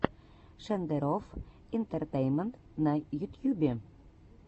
шендерофф интэртэйнмэнт на ютьюбе